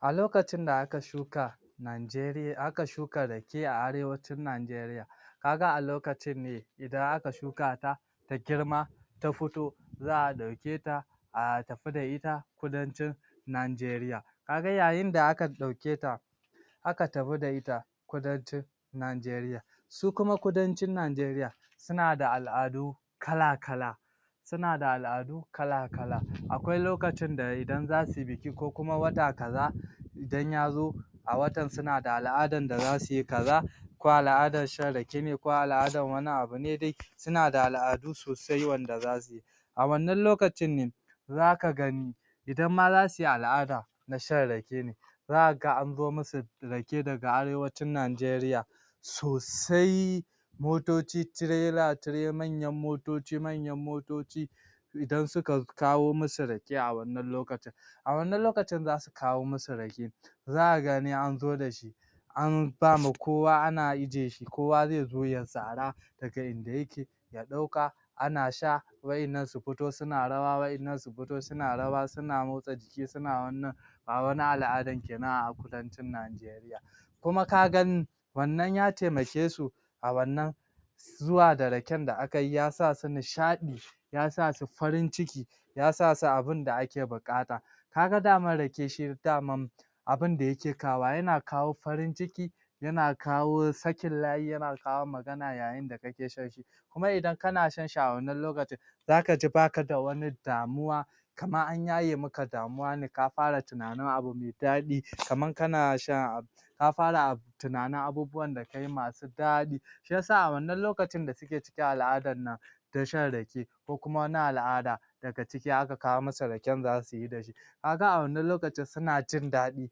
A lokacin da aka shuka Nigarian aka shuka Rake a arewacin Nigaria ka ga a lokacin ne idan aka shukata ta girma ta fito za a ɗauke ta a tafi da ita kudancin Nigaria ka ga yayin da akan ɗauketa aka tafi da ita kudanci Nigaria shi kuma kudancin Nigaria suna da al'adu kala-kala suna da al'adu kala-kala akwai lokacin da idan za sui biki ko kuma wata kaza idan ya zo a watan suna da al'adar da za sui kaza ko al'adar shan Rake ne ko al'adar wani abu ne suna da al'adu sosai wanda za sui a wannan lokacin ne zaka gani idan ma za sui al'ada na shan Rake ne zaka ga an zo musu Rake daga arewacin Nigaria sosai motoci Tirela-Tirela manyan motoci manyan motoci idan suka kawo musu Rake a wannan lokacin a wannan lokacin za su kawo musu Rake zaka gani an zo da shi an ba ma kowa ana ijiye shi kowa zai zo ya sara daga inda yake ya ɗauka ana sha wa'yannan su fito suna rawa wa'yannan su foto suna rawa suna motsa jiki suna wannan ba wani al'adar kenan a kudanci NIgaria kuma ka gani wannan ya taimake su a wannan zuwa da Raken da aka yi ya sa su nishaɗi ya sa su farin ciki ya sa su abinda ake buƙata ka ga dama Rake shi daman abinda yake kawowa yana kawo farin ciki yana kawo sakin layi, yana kawo magana yayin da kake shan shi kuma idan kana shan shi a wannan lokacin zaka ji baka da wanai damuwa kamar an yaye maka damuwa ka fara tunanin abu me daɗi kamar kana shan ka fara tunanin abubuwan da kai masu daɗi shi ya sa wannan lokacin da suke cikin al'adar nan ta shan Rake ko kuma na al'ada daga ciki aka masa Raken da za sui da shi ka ga a wannan lokacin suna jindaɗin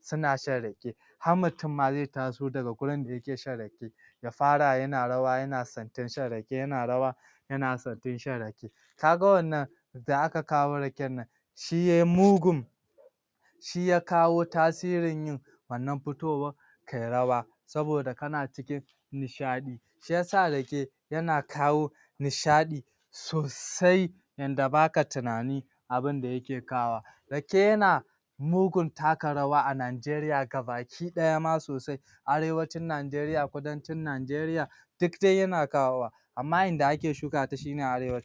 suna shan Rake har mutum ma zai taso ma daga gurin shan Rake ya fara yana rawa yana santin shan Rake yana rawa yana santin shan Rake ka ga wannan da aka kawo Raken nan shi yai mugun shi ya kawo tasirin yin wannan fitowa kai rawa saboda kana cikin nishaɗi shi ya sa Rake yana kawo nishaɗi sosai yanda baka tunani abinda yake kawowa Rake yana mugun taka rawa a Nigaria gabaki ɗaya ma sosai arewacin Nigaria, kudancin Nigaria duk dai yana kawowa amma inda ake shukata shi ne arewac